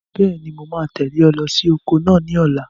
Bẹ́ẹ̀ni, mo máa tẹ̀lé ọ lọ sí oko náà ní ọ̀la.